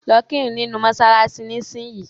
Lọ́ kírun nínu mọ́ṣáláṣí nísìnyìí.